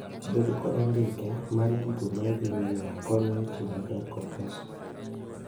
Bedo kod andike mar gigo maidhi nyiewo konyo e tiyo maber kod pesa.